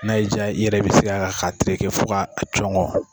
N'a diya i yɛrɛ bɛ se ka terekɛ fo ka a cɔgɔn.